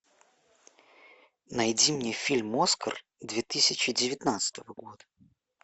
найди мне фильм оскар две тысячи девятнадцатого года